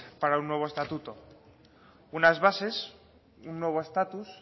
para un nuevo estatuto unas bases un nuevo estatus